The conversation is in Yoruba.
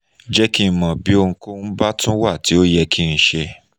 jẹ́ kí n mọ̀ bí ohunkóhun bá tún wà tí ó yẹ kí n ṣe